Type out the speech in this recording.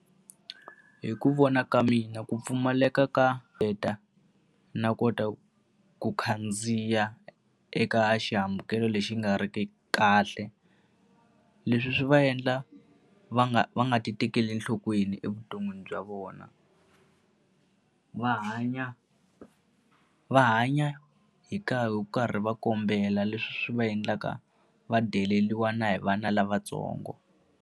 Hi ku vona ka mina ku pfumaleka ka na kota ku khandziya eka xihambukelo lexi nga ri ki kahle. Leswi swi va endla va nga va nga ti tekeli enhlokweni evuton'wini bya vona. Va hanya va hanya hi hi karhi va kombela, leswi va endlaka va deleriwa na hi vana lavatsongo.